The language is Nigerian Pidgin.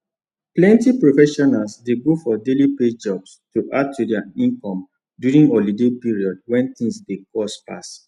plenty professionals dey go for daily pay jobs to add to their income during holiday period when things dey cost pass